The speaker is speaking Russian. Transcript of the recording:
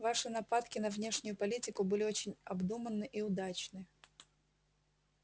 ваши нападки на внешнюю политику были очень обдуманны и удачны